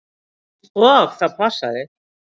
Og það passaði.